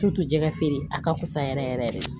Tu jɛgɛ feere a ka fusa yɛrɛ yɛrɛ de